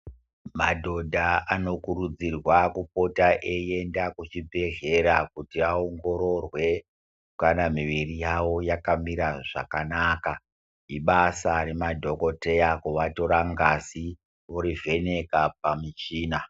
Madhodha anokurudzirwa kupota eienda kuchibhedhleya kuti aongororwe kana miviri yavo yakamira zvakanaka, ibasa remadhokoteya kuvatora ngazi orivheneka pamichina.